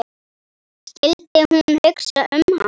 Skyldi hún hugsa um hann?